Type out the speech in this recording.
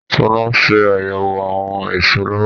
Sọlá ń ṣe àyẹ̀wọ̀ àwọn èso lọ́wọ́.